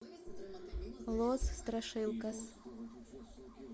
лос страшилкас